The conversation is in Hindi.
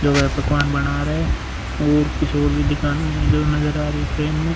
जो है पकवान बना रहा है और कुछ और भी है जो नज़र आ रहा है फ्रेम में।